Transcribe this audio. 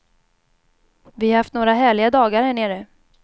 Vi har haft några härliga dagar här nere.